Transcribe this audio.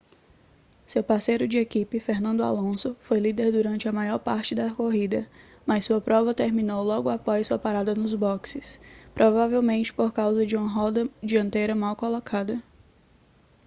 seu parceiro de equipe fernando alonso foi líder durante a maior parte da corrida mas sua prova terminou logo após sua parada nos boxes provavelmente por causa de uma roda dianteira mal colocada